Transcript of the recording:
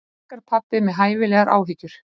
Helgarpabbi með hæfilegar áhyggjur.